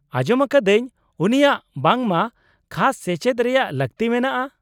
-ᱟᱸᱡᱚᱢ ᱟᱠᱟᱫᱟᱹᱧ ᱩᱱᱤᱭᱟᱜ ᱵᱟᱝᱢᱟ ᱠᱷᱟᱥ ᱥᱮᱪᱮᱫ ᱨᱮᱭᱟᱜ ᱞᱟᱹᱠᱛᱤ ᱢᱮᱱᱟᱜᱼᱟ ᱾